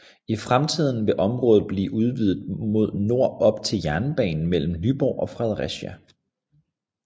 I fremtiden vil området blive udvidet mod nord op til jernbanen mellem Nyborg og Fredericia